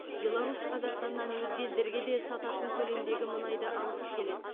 беларусь қазақстаннан өзге елдерге де сататын көлемдегі мұнайды алғысы келеді